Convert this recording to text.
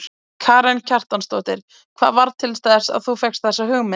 Karen Kjartansdóttir: Hvað varð til þess að þú fékkst þessa hugmynd?